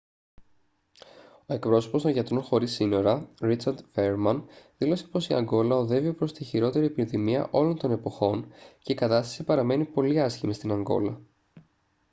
ο εκπρόσωπος των γιατρών χωρίς σύνορα richard veerman δήλωσε πως «η ανγκόλα οδεύει προς τη χειρότερη επιδημία όλων των εποχών και η κατάσταση παραμένει πολύ άσχημη στην ανγκόλα»